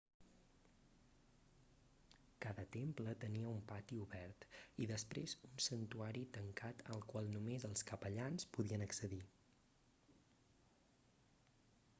cada temple tenia un pati obert i després un santuari tancat al qual només els capellans podien accedir